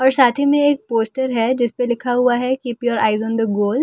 और साथ ही में एक पोस्टर है जिसपे लिखा हुआ है keep your eyes on the goal.